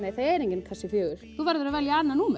er enginn kassi fjórða þú verður að velja annað númer